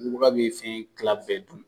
bubaga bɛ fɛn kila bɛɛ dun